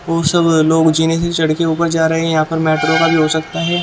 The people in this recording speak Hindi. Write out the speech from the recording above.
और सब लोग जीने से चढ़ के ऊपर जा रहे हैं यहाँ पर मेट्रो का भी हो सकता है।